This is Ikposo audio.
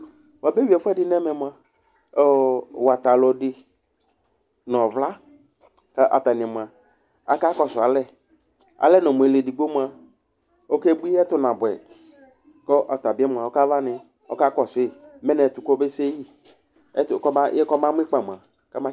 Wuabeyʋi ɛfʋɛdɩ nʋ ɛmɛ mʋa, watalu dɩ nʋ ɔvla kʋ atani mʋa aka kɔsʋ alɛ Alɛnɔ mʋ ɔlʋedigbo mʋa okebʋi, ɛtʋ nabʋɛ yɩ Kʋ ɔta bɩ mʋa, ɔkavani, ɔkakɔsʋ yɩ mɛ nʋ ɛtʋ kobese yɩ, kɔmamʋ ɩkpa